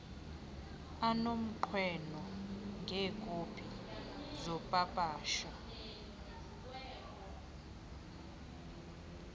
anomnqweno ngeekopi zopapasho